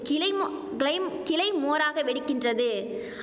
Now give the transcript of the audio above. கிளைமோ கிளைம் கிளைமோராக வெடிக்கின்றது